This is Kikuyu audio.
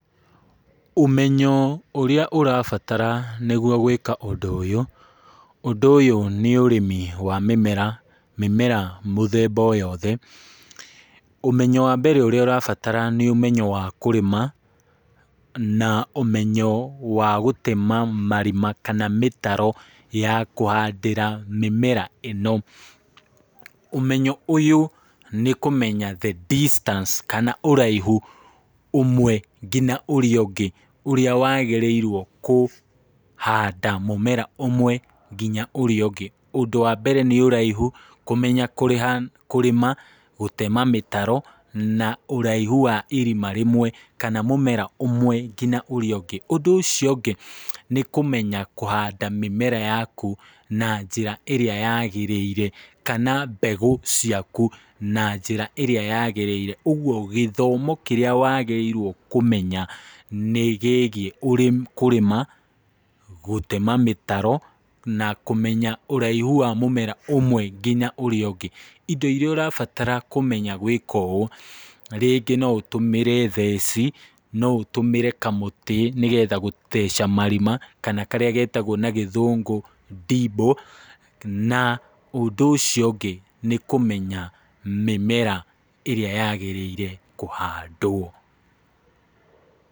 Ũmenyo ũrĩa ũrabatara nĩgwo gwĩka ũndũ ũyũ, ũndũ ũyũ nĩ ũrĩmi wa mĩmera, mĩmera mũthemba o yothe, ũmenyo wa mbere ũrĩa ũrabatara nĩ ũmenyo wa kũrĩma, na ũmenyo wa gũtema marima kana mĩtaro ya kũhandĩra mĩmera ĩno, ũmenyo ũyũ nĩ kũmenya the distance, kana ũraihu ũmwe nginya ũrĩa ũngĩ , ũrĩa wagĩrĩirwo kũhanda mũmera ũmwe nginya ũrĩa ũngĩ , ũndũ wa mbere nĩ ũraihu kũmenya kũrĩma, gũtema mĩtaro , na ũraihu wa irima rĩmwe , kana mũmera ũmwe nginya ũrĩa ũngĩ, ũndũ ũcio ũngĩ nĩ kũmenya kũhanda mĩmera yaku na njĩra ĩrĩa yagĩrĩire, kana mbegũ ciaku na njĩra ĩrĩa yagĩrĩire , ũgwo gĩthomo kĩrĩa wagĩrĩirwo kũmenya, nĩ gĩgiĩ kũrĩma, gũtema mĩtaro, na kũmenya ũraihu wa mũmera ũmwe nginya ũrĩa ũngĩ, indo iria ũrabatara kũmenya gwĩka ũũ , rĩngĩ no ũtũmĩre theci , no ũtũmĩre kamũti nĩgetha gũtheca marima, karĩa getagwo na gĩthũngũ dible , na ũndũ ũcio ũngĩ nĩ kũmenya mĩmera ĩrĩa yagĩrĩire kũhandwo.